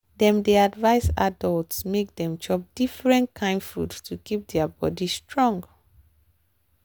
dem dey advise adults make dem chop different kain food to keep their body strong.